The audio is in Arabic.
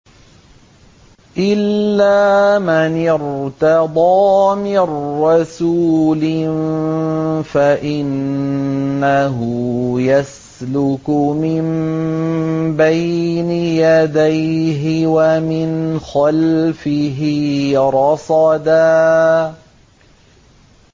إِلَّا مَنِ ارْتَضَىٰ مِن رَّسُولٍ فَإِنَّهُ يَسْلُكُ مِن بَيْنِ يَدَيْهِ وَمِنْ خَلْفِهِ رَصَدًا